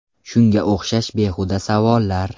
Shunga o‘xshash behuda savollar.